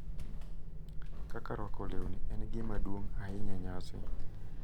Kaka rwako lewni en gima duong’ ahinya e nyasi,